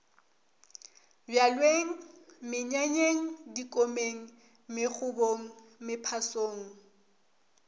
bjalweng menyanyeng dikomeng megobong mephasong